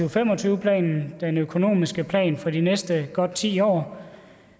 og fem og tyve planen den økonomiske plan for de næste godt ti år